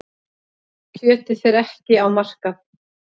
Kjötið fer ekki á markað.